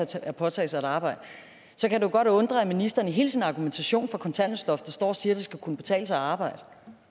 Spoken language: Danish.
til at påtage sig at arbejde så kan det godt undre at ministeren i hele sin argumentation for kontanthjælpsloftet står og siger at det skal kunne betale sig at arbejde